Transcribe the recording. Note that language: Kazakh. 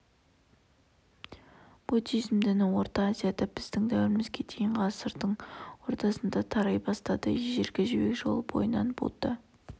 буддизм діні орта азияда біздің дәуірімізге дейінгі ғасырдың ортасында тарай бастады ежелгі жібек жолы бойынан будда